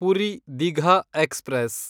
Puri Digha express